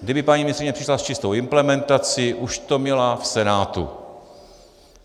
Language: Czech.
Kdyby paní ministryně přišla s čistou implementací, už to měla v Senátu.